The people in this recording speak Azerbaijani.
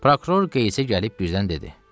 Prokuror Qeyisə gəlib birdən dedi: